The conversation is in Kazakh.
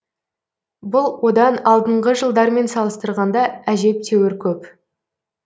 бұл одан алдыңғы жылдармен салыстырғанда әжептеуір көп